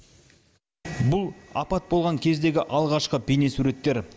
бұл апат болған кездегі алғашқы бейнесуреттер